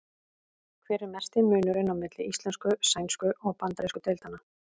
Hver er mesti munurinn á milli íslensku-, sænsku- og bandarísku deildanna?